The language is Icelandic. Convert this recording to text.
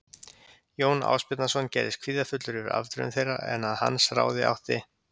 Jón Ásbjarnarson gerðist kvíðafullur yfir afdrifum þeirra en að hans ráði átti